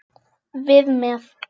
Við með.